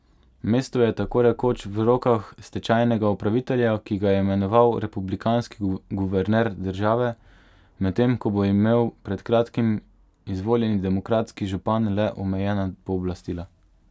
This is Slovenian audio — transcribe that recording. Mesto je tako rekoč v rokah stečajnega upravitelja, ki ga je imenoval republikanski guverner države, medtem ko bo imel pred kratkim izvoljeni demokratski župan le omejena pooblastila.